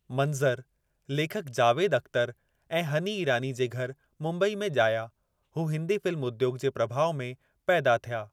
मंज़र लेखकु जावेद अख़्तर ऐं हनी ईरानी जे घर मुंबई में ॼाया, हू हिंदी फिल्म उद्योगु जे प्रभाउ में पैदा थिया।